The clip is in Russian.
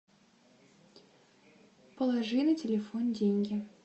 положи на телефон деньги